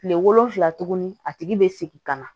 Kile wolonfila tuguni a tigi bɛ segin ka na